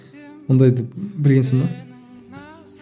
ондайды білгенсің бе